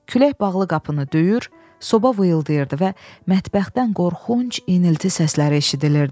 Külək bağlı qapını döyür, soba vıyılayırdı və mətbəxdən qorxunc inilti səsləri eşidilirdi.